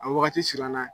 A wagati siranna